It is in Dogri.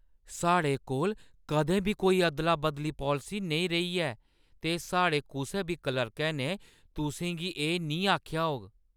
साढ़े कोल कदें बी कोई अदला-बदली पालसी नेईं रेही ऐ ते साढ़े कुसै बी क्लर्कै ने तुसें गी एह् निं आखेआ होग ।